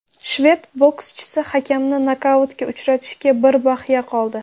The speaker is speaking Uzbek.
Shved bokschisi hakamni nokautga uchratishiga bir bahya qoldi.